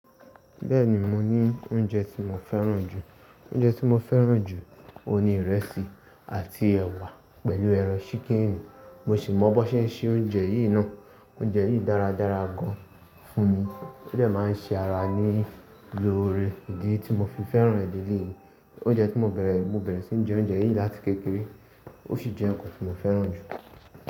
Bẹ́ẹ̀ni, mo ní oúnjẹ tí mo fẹ́ràn jù. Oúnjẹ tí mo fẹ́ràn jù, òun ni ìrẹsì àti ẹ̀wà pẹ̀lú ẹran ṣíkìnì. Mo sì mọ bó ṣe ń se oúnjẹ yìí náà. Oúnje yìí dáradára gan fún mi ó dẹ̀ máa ń ṣe ara ní i loore di tí mo fi fẹ́ràn è lè lè yìí. Oúnjẹ tí mo bẹ̀rẹ̀, mo bẹ̀rẹ̀ sí ń jẹ oúnjẹ yìí láti kékeré. Ó sì jẹ́ ǹkan tí mo fẹ́ràn jù.